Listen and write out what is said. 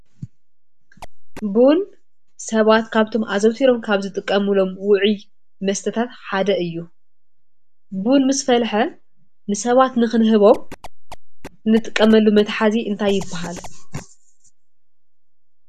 ቡን ሰባት ካብቶም አዘውቲሪም ካብ ዝጥቀምሉም ውዕይ መስተታተ ሓደ እዩ። ቡን ምስ ፈልሐ ንሰባት ንክንህቦም እንጥቀመሎም መትሓዚ እንታይ ይበሃል?